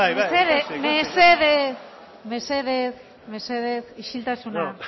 mesedez mesedez isiltasuna